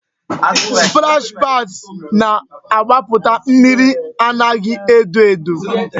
Splash pads na-agbaputa mmiri anaghị adọ adọ